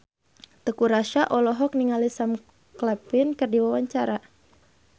Teuku Rassya olohok ningali Sam Claflin keur diwawancara